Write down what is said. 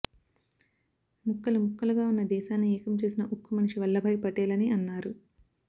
ముక్కలు ముక్కలుగా ఉన్న దేశాన్ని ఏకం చేసిన ఉక్కు మనిషి వల్లభాయ్ పటేల్ అని అన్నారు